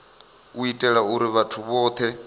u itela uri vhathu vhothe